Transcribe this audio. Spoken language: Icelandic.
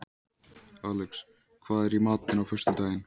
Alex, hvað er í matinn á föstudaginn?